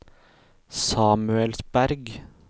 Samuelsberg